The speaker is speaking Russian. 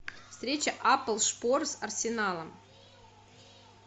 встреча апл шпор с арсеналом